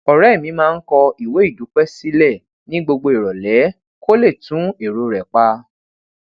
òré mi máa ń kọ ìwé ìdúpé sílè ni gbogbo irole kó lè tun ero re pa